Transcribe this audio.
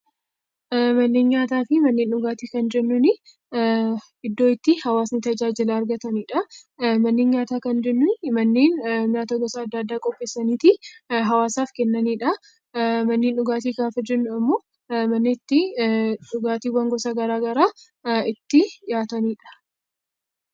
Manneen nyaataa fi manneen dhugaatii kan jennuuni iddoo itti hawaasni tajaajila argatanidha. manneen nyaataa kan jennuun manneen nyaata gosa addaa addaa qopheessaniitii hawaasaafi kennaniidha. Manneen dhugaatii gaafa jennu immoo mana itti dhugaatiiwwan gosa garaagaraa ittii dhiyaataniidha.